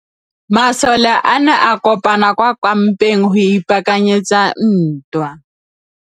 Masole a ne a kopane kwa kampeng go ipaakanyetsa ntwa.